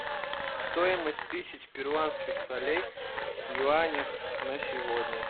стоимость тысяч перуанских солей в юанях на сегодня